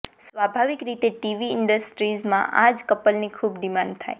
સ્વાભાવિક રીતે ટીવી ઇન્ડસ્ટ્રીમાં આ જ કપલની ખૂબ ડિમાન્ડ થાય